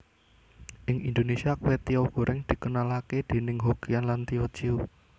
Ing Indonesia kwetiau goreng dikenalake déning Hokkian lan Tio Ciu